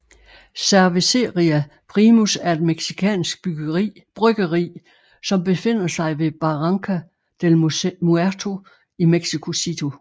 Cervecería Primus er et mexikansk bryggeri som befinder sig ved Barranca del Muerto i Mexico City